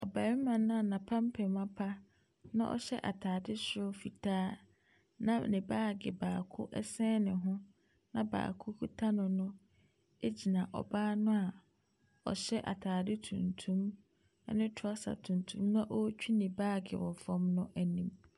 Barima no a n’apampam apa na ɔhyɛ ataade soro fitaa na ne baage baako ɛsɛn ne ho gyina ɔbaa noa ɔhyɛ ataade tuntum ne trouser tuntum a ɛretwi ne baage wɔ fam no anim.